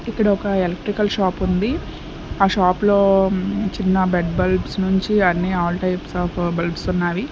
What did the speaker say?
ఇక్కడ ఒక electrical shop ఉంది ఆ షాప్ లో చిన్న బెడ్ బల్బ్స్ నుంచి అన్ని ఆల్ టైప్స్ ఆఫ్ బల్బ్స్ ఉన్నవి.